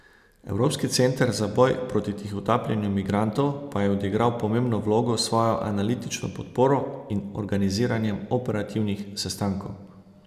Evropski center za boj proti tihotapljenju migrantov pa je odigral pomembno vlogo s svojo analitično podporo in organiziranjem operativnih sestankov.